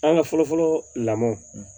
An ka fɔlɔ fɔlɔ lamɔ